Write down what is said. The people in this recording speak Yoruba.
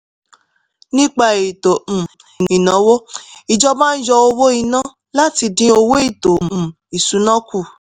nípa ètò um ìnáwó ìjọba ń yọ owó ìná láti dín owó ètò um ìsúná kù.